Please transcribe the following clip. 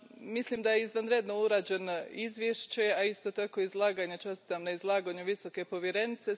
Mislim da je izvanredno urađeno izvješće, a isto tako izlaganje, čestitam na izlaganju visoke povjerenice.